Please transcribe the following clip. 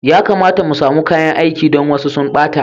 Ya kamata mu samu kayan aiki don wasu sun ɓata.